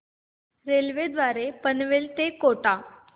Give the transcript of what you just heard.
railway द्वारे पनवेल ते कोटा